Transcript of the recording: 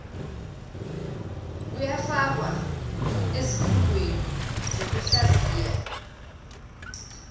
luyafakwa ezifundweni zokuhlaziya